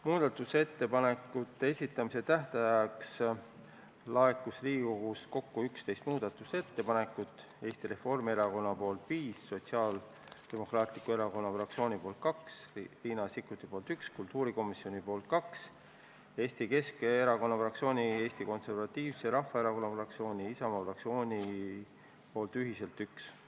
Muudatusettepanekute esitamise tähtajaks laekus kokku 11 muudatusettepanekut: Eesti Reformierakonnalt viis, Sotsiaaldemokraatliku Erakonna fraktsioonilt kaks, Riina Sikkutilt üks, kultuurikomisjonilt kaks ja Eesti Keskerakonna fraktsioonilt, Eesti Konservatiivse Rahvaerakonna fraktsioonilt ja Isamaa fraktsioonilt ühiselt üks.